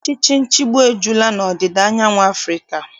Ọchịchị nchịgbu ejula n'ọdịda anyanwụ Afrịka.